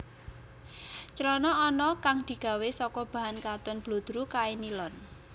Clana ana kang digawé saka bahan katun bludru kain nilon